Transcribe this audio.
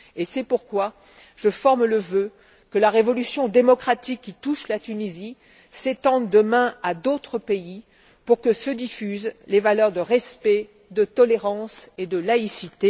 C'est pourquoi je forme le vœu que la révolution démocratique qui touche la Tunisie s'étende demain à d'autres pays pour que se diffusent les valeurs de respect, de tolérance et de laïcité.